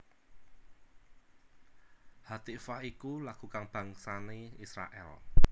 Hatikvah iku lagu kabangsané Israèl